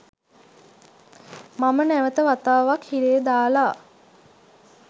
මම නැවත වතාවක් හිරේ දාලා.